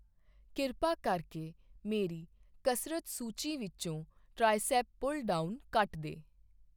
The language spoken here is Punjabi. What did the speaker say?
ਕਿਰਪਾ ਕਰਕੇ ਮੇਰੀ ਕਸਰਤ ਸੂਚੀ ਵਿੱਚੋਂ ਟ੍ਰਾਈਸੈਪ ਪੁੱਲ ਡਾਊਨ ਕੱਟ ਦੇ